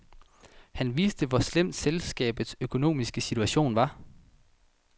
Han vidste, hvor slemt selskabets økonomiske situation var.